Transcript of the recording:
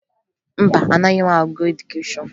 Mba, anaghị m agụ edukeshọn